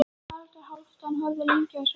Haraldur Hálfdán horfði lengi á þessa stúlku.